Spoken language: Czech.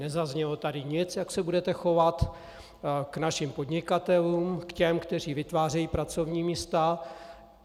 Nezaznělo tady nic, jak se budete chovat k našim podnikatelům, k těm, kteří vytvářejí pracovní místa.